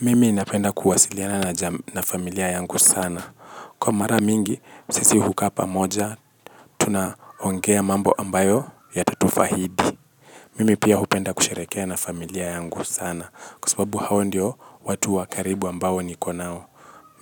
Mimi ninapenda kuwasiliana na familia yangu sana. Kwa mara mingi, sisi hukaa pamoja, tunaongea mambo ambayo yatatufahidi. Mimi pia hupenda kusherehekea na familia yangu sana, kwa sababu hao ndio watu wa karibu ambao niko nao.